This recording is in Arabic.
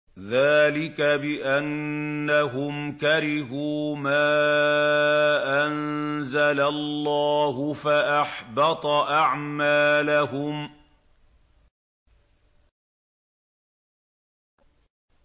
ذَٰلِكَ بِأَنَّهُمْ كَرِهُوا مَا أَنزَلَ اللَّهُ فَأَحْبَطَ أَعْمَالَهُمْ